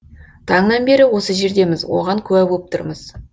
таңнан бері осы жердеміз оған куә боп тұрмыз